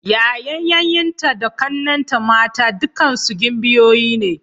Yayan yayyenta da ƙannenta mata dukkansu gimbiyoyi ne.